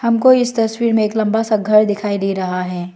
हमको इस तस्वीर में एक लंबा सा घर दिखाई दे रहा है।